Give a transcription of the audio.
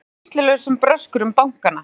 Seldu reynslulausum bröskurum bankana